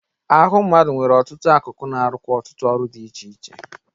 Ahụ mmadụ nwere ọtụtụ akụkụ na-arụkwa ọtụtụ ọrụ dị iche iche.